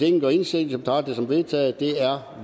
ingen gør indsigelse betragter som vedtaget det er